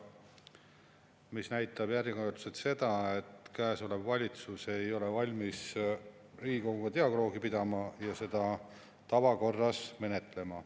See näitab järjekordselt seda, et käesolev valitsus ei ole valmis Riigikoguga dialoogi pidama ja seda tavakorras menetlema.